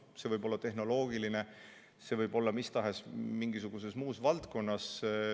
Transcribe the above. See võib olla tehnoloogiline, see võib olla mis tahes muus valdkonnas.